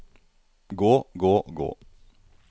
gå gå gå